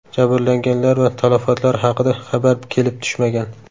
Jabrlanganlar va talafotlar haqida xabar kelib tushmagan.